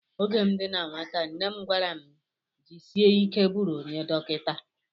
Oge m dị na nwata nne m gwara m jisie ike bụrụ onye dọkịta